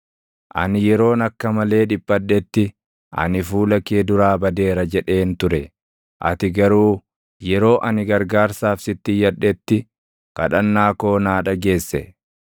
Ani yeroon akka malee dhiphadhetti, “Ani fuula kee duraa badeera!” jedheen ture. Ati garuu yeroo ani gargaarsaaf sitti iyyadhetti, kadhannaa koo naa dhageesse.